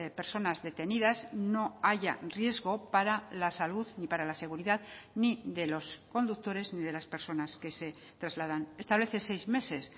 personas detenidas no haya riesgo para la salud ni para la seguridad ni de los conductores ni de las personas que se trasladan establece seis meses